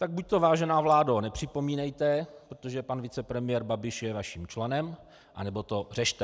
Tak buď to, vážená vládo, nepřipomínejte, protože pan vicepremiér Babiš je naším členem, anebo to řešte.